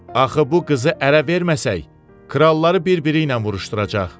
Axı bu qızı ərə verməsək, kralları birbiri ilə vuruşduracaq.